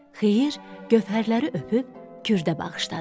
Xeyir gövhərləri öpüb Kürdə bağışladı.